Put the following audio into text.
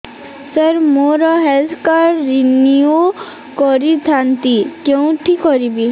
ସାର ମୋର health card renew କରିଥାନ୍ତି କେଉଁଠି କରିବି